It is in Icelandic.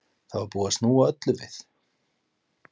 Það var búið að snúa öllu við.